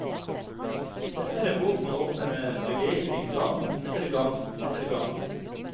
Dette er en bok man åpner med begeistring gang etter gang etter gang.